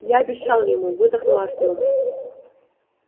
я обещал ему выдохнул артём